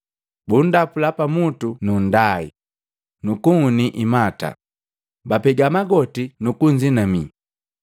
Bundapula pamutu na nndai, nu kunhuni imata, bapega magoti nu kunzinamii.